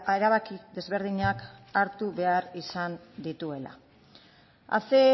erabaki desberdinak hartu behar izan dituela hace